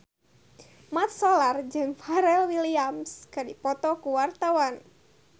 Mat Solar jeung Pharrell Williams keur dipoto ku wartawan